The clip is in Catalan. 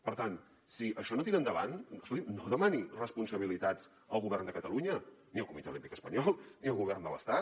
per tant si això no tira endavant escolti’m no demani responsabilitats al govern de catalunya ni al comitè olímpic espanyol ni al govern de l’estat